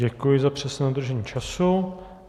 Děkuji za přesné dodržení času.